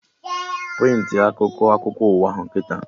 Prịntị a akwụkwọ akụkọ ụwa ahụ kịta!